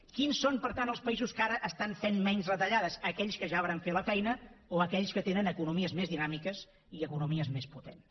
quins són per tant els països que ara estan fent menys retallades aquells que ja varen fer la feina o aquells que tenen economies més dinàmiques i economies més potents